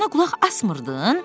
Dovşana qulaq asmırdın?